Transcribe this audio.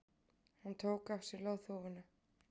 Hann tók af sér loðhúfuna.